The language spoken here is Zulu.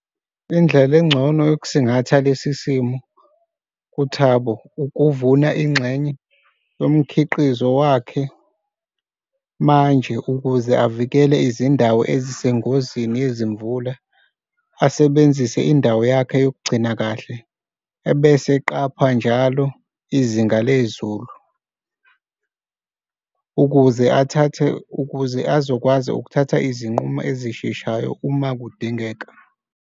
Indlela engcono yokusingatha lesi simo kuThabo ukuvuna ingxenye yomkhiqizo wakhe manje ukuze avikele izindawo ezisengozini yezimvula, asebenzise indawo yakhe yokugcina kahle. Ebese eqapha njalo izinga lezulu ukuze athathe, ukuze azokwazi ukuthatha izinqumo ezisheshayo uma kudingeka.